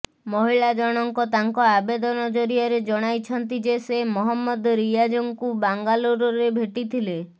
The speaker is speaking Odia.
ମହିଳା ଜଣଙ୍କ ତାଙ୍କ ଆବେଦନ ଜରିଆରେ ଜଣାଇଛନ୍ତି ଯେ ସେ ମହମ୍ମଦ ରିଆଜଙ୍କୁ ବାଙ୍ଗାଲୋରରେ ଭେଟିଥିଲେ